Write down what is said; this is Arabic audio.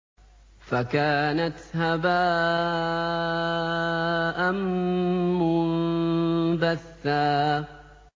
فَكَانَتْ هَبَاءً مُّنبَثًّا